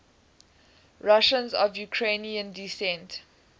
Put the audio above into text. russians of ukrainian descent